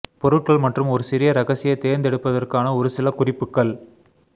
பொருட்கள் மற்றும் ஒரு சிறிய இரகசிய தேர்ந்தெடுப்பதற்கான ஒரு சில குறிப்புகள்